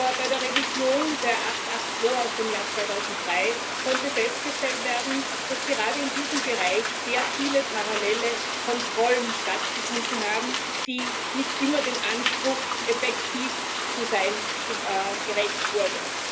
Aber bei der Revision der 882 aus dem Jahr 2003 konnte festgestellt werden, dass gerade in diesem Bereich sehr viele parallele Kontrollen stattgefunden haben, die nicht immer dem Anspruch, effektiv zu sein, gerecht wurden.